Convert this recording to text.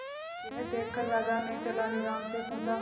यह देखकर राजा ने तेनालीराम से पूछा